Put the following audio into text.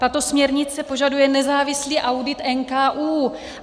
Tato směrnice požaduje nezávislý audit NKÚ.